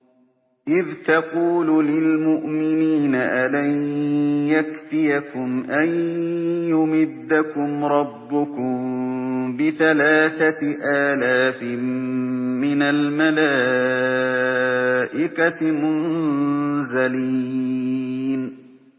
إِذْ تَقُولُ لِلْمُؤْمِنِينَ أَلَن يَكْفِيَكُمْ أَن يُمِدَّكُمْ رَبُّكُم بِثَلَاثَةِ آلَافٍ مِّنَ الْمَلَائِكَةِ مُنزَلِينَ